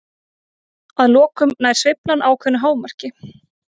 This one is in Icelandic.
Að lokum nær sveiflan ákveðnu hámarki.